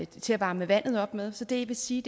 til at varme vandet op med så det vil sige